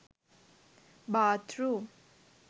bath room